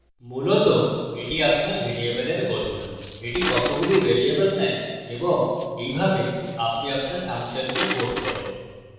মূলত এটি আপনার ভ্যারিয়েবলের গঠন এটি কতগুলি ভ্যারিয়েবল নেয় এবং এইভাবে আপনি আপনার ফাংশনকে code করেন